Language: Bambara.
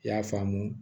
I y'a faamu